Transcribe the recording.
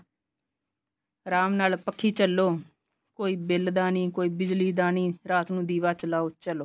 ਆਰਾਮ ਨਾਲ ਪੱਖੀ ਝੱਲੋ ਕੋਈ ਬਿਲ ਦਾ ਨੀ ਕੋਈ ਬਿਜਲੀ ਦਾ ਨੀ ਰਾਤ ਨੂੰ ਦੀਵਾ ਚਲਾਉ ਚਲੋ